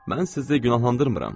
Mən sizi günahlandırmıram.